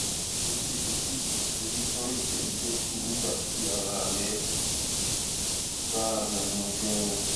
ṣé ó ṣeé ṣe kí ìsoríkó èjè dín kù nígbà tí ara rẹ bá rẹnu ganan